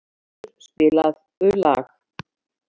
Kristvarður, spilaðu lag.